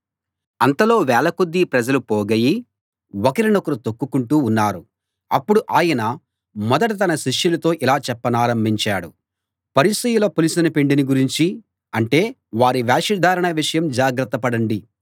అంతలో వేలకొద్దీ ప్రజలు పోగయి ఒకరినొకరు తొక్కుకుంటూ ఉన్నారు అప్పుడు ఆయన మొదట తన శిష్యులతో ఇలా చెప్పనారంభించాడు పరిసయ్యుల పులిసిన పిండిని గురించి అంటే వారి వేషధారణ విషయం జాగ్రత్త పడండి